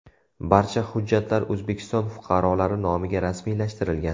Barcha hujjatlar O‘zbekiston fuqarolari nomiga rasmiylashtirilgan.